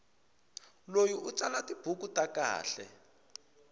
loyi u tsala tibuku ta kahle